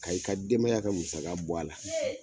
A y'i ka debaya ka musa bɔ a la,